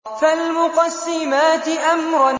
فَالْمُقَسِّمَاتِ أَمْرًا